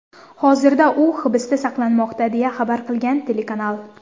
Hozirda u hibsda saqlanmoqda, deya xabar qilgan telekanal.